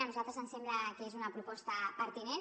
a nosaltres ens sembla que és una proposta pertinent